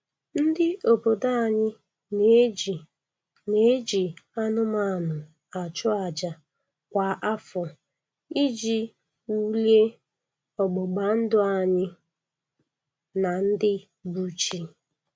Ndị obodo anyị na-eji na-eji anụmanụ achụ aja kwa afọ iji wulie ọgbụgbandụ anyị na ndị bụ chi